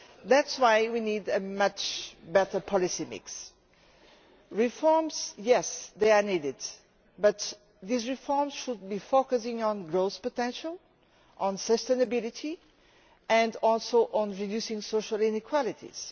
That is why we need a much better policy mix. Regarding reforms, yes they are needed, but these reforms should be focusing on growth potential, on sustainability and also on reducing social inequalities.